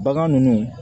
Bagan ninnu